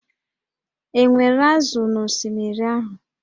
E nwere ázụ̀ na osimiri ahụ?